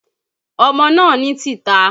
Ọmọ náà ní tìta